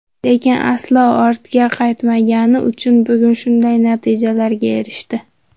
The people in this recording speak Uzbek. Lekin aslo ortga qaytmagani uchun bugun shunday natijalarga erishdi.